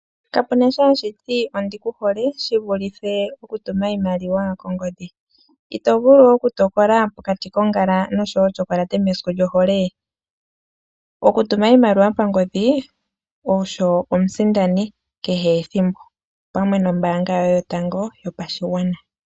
Kapuna sho hashiti ondikuhole shi vulithe okutuma iimaliwa kongodhi, ito vulu oku tokola pokati kongala notyokolate mesiku lyohole? Okutuma oshimaliwa kongodhi osho omusindani kehe ethimbo, opamwe nombaanga yoye yotango yopashigwana.